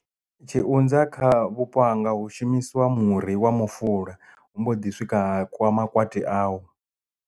Tshiunza kha vhupo hanga hu shumisiwa muri wa mufuvha hu mbo ḓi swika ha kiwa makwati awo.